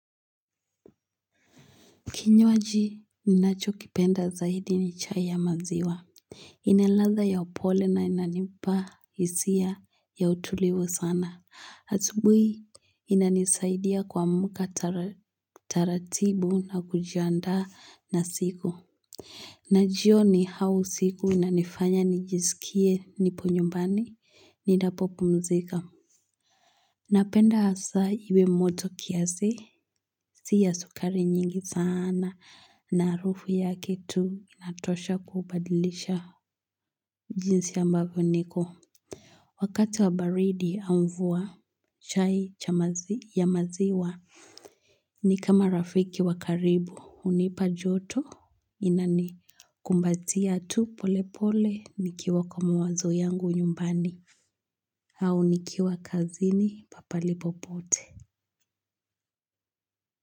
Kinywaji, ni nacho kipenda zaidi ni chai ya maziwa. Inaladha ya upole na inanipa isia ya utulivu sana. Asubui, inanisaidia kuamka tara taratibu na kujiandaa na siku. Najioni hau siku inanifanya nijisikie nipo nyumbani. Niendapo pumzika. Napenda asa iwe moto kiasi, si ya sukari nyingi sana na arufu yake tu inatosha kubadilisha jinsi ambavo niko. Wakati wa baridi, au mvua chai chamazi ya maziwa. Ni kama rafiki wakaribu, unipa joto, inani kumbatia tu pole pole nikiwa kwa mawazo yangu nyumbani, au nikiwa kazini papalipo pote.